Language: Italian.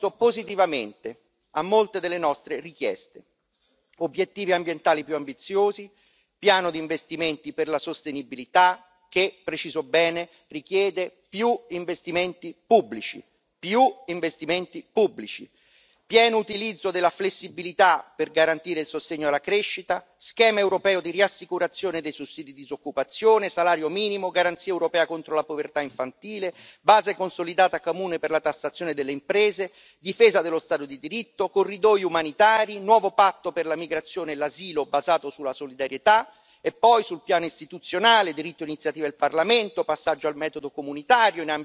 Obiettivi ambientali più ambiziosi, piano di investimenti per la sostenibilità che preciso bene richiede più investimenti pubblici, più investimenti pubblici, pieno utilizzo della flessibilità per garantire il sostegno alla crescita, schema europeo di riassicurazione dei sussidi di disoccupazione, salario minimo, garanzia europea contro la povertà infantile, base consolidata comune per la tassazione delle imprese, difesa dello Stato di diritto, corridoi umanitari, nuovo patto per la migrazione e l'asilo basato sulla solidarietà, e poi, sul piano istituzionale, diritto d'iniziativa del Parlamento, passaggio al metodo comunitario in ambiti cruciali, rafforzamento del sistema degli Spitzenkandidaten.